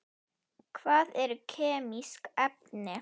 Hvað eru kemísk efni?